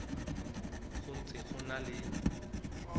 ho ntse ho na le